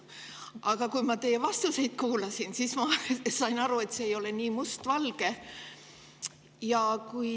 Aga kui ma teie vastuseid kuulasin, siis ma sain aru, et see ei ole nii mustvalge.